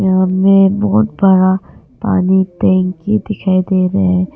सामने बहुत बड़ा पानी टंकी दिखाई दे रहा--